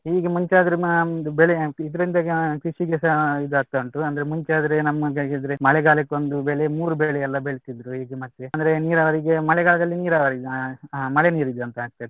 ಈಗ ಮುಂಚೆ ಆದ್ರೂ ನಮ್ದು ಬೆಳೆ ಇದ್ರಿಂದ ಕೃಷಿಗೆಸ ಇದಾಗ್ತಾ ಉಂಟು ಅಂದ್ರೆ ಮುಂಚೆ ಆದ್ರೆ ನಮಗಾಗಿದ್ರೆ ಮಳೆಗಾಲಕ್ಕೊಂದು ಬೆಳೆ ಮೂರೂ ಬೆಳೆ ಎಲ್ಲಾ ಆದ್ರೂ ಬೆಳ್ಸಿದ್ರು ಈಗ ಮತ್ತೆ ಅಂದ್ರೆ ನೀರಾವರಿಗೆ ಮಳೆಗಾಲದಲ್ಲಿ ನೀರಾವರಿ ಮಳೆ ನೀರ್ ಇದೆ ಅಂತ ಆಗ್ತಿತ್ತು.